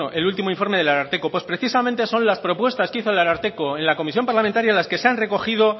el último informe del ararteko pues precisamente son las propuestas que hizo el ararteko en la comisión parlamentaria las que se han recogido